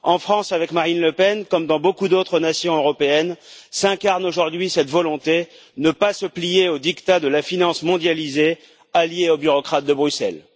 En France, avec Marine Le Pen, comme dans beaucoup d'autres nations européennes, s'incarne aujourd'hui cette volonté ne pas se plier aux diktats de la finance mondialisée alliée aux bureaucrates de Bruxelles.